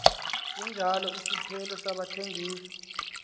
sinjalo isiphelo sabathengisi